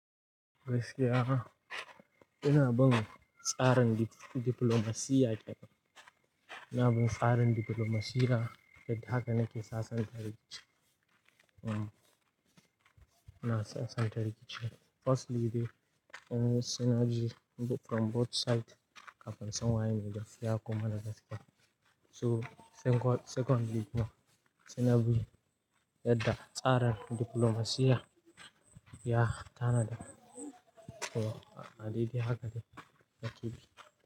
Gaskiya, ina bin tsarin diplomacy yake. Ina bin tsarin diplomacy da haka nake sassan tarihin. Hmm, ina sassan tarihin. Firstly dai, sainaji from both side kafin insan waye megaskiya ko maragaskiya So secondly ma, suna bi yadda tsarin diplomacy ya tanada. To, a dalili haka ne na ki.